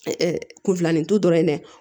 kunfilanintu dɔrɔn dɛ